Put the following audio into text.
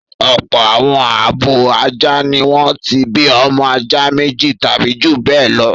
Ọ̀pọ̀ àwọn abo ajá ni wọ́n ti bí ọmọ ajá méjì tàbí ju bẹ́ẹ̀ lọ rí.